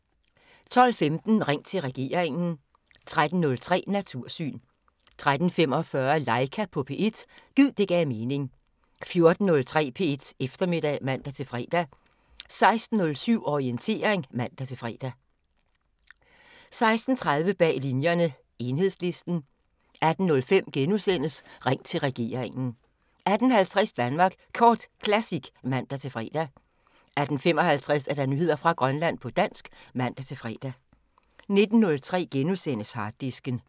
12:15: Ring til regeringen 13:03: Natursyn 13:45: Laika på P1 – gid det gav mening 14:03: P1 Eftermiddag (man-fre) 16:07: Orientering (man-fre) 16:30: Bag Linjerne – Enhedslisten 18:05: Ring til regeringen * 18:50: Danmark Kort Classic (man-fre) 18:55: Nyheder fra Grønland på dansk (man-fre) 19:03: Harddisken *